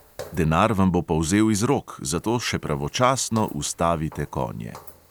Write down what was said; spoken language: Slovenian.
Denar vam bo polzel iz rok, zato še pravočasno ustavite konje.